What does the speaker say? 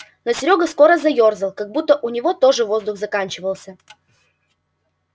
но серёга скоро заёрзал как будто у него тоже воздух заканчивался